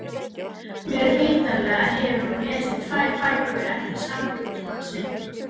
Mér vitanlega hefur hún lesið tvær bækur eftir sambýlismann sinn.